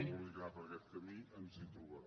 vulgui anar per aquest camí ens hi trobarà